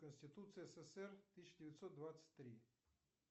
конституция ссср тысяча девятьсот двадцать три